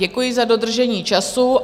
Děkuji za dodržení času.